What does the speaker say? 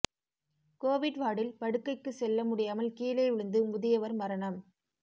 Covid வார்டில் படுக்கைக்கு செல்ல முடியாமல் கீழே விழுந்து முதியவர் மரணம்